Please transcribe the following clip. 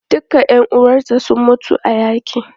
Duka ƴan uwanta sun mutu a yaƙi.